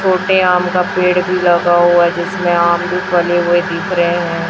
छोटे आम का पेड़ भी लगा हुआ है जिसमें आम भी फले हुए दिख रहे हैं।